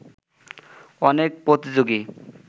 অনেক প্রতিযোগী